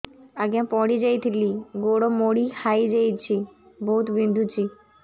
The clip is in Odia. ଆଜ୍ଞା ପଡିଯାଇଥିଲି ଗୋଡ଼ ମୋଡ଼ି ହାଇଯାଇଛି ବହୁତ ବିନ୍ଧୁଛି